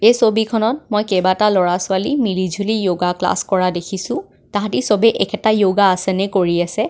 এই ছবিখনত মই কেইবাটা ল'ৰা ছোৱালী মিলিজুলি য়োগা ক্লাছ কৰা দেখিছোঁ তাহাতি সবে একেটা য়োগা আছনে কাৰি আছে.